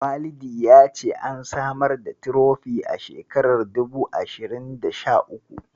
Walidi ya ce an samar da Tirofi a shekarar dubu ashirin da sha uku.